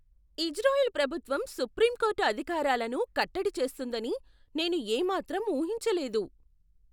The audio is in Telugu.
ఇజ్రాయెల్ ప్రభుత్వం సుప్రీంకోర్టు అధికారాలను కట్టడి చేస్తుందని నేను ఏ మాత్రం ఊహించలేదు.